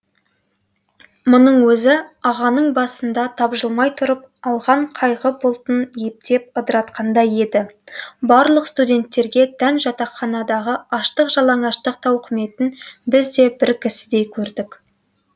мұның өзі ағаның басында тапжылмай тұрып алған қайғы бұлтын ептеп ыдыратқандай еді барлық студенттерге тән жатақханадағы аштық жалаңаштық тауқыметін біз де бір кісідей көрдік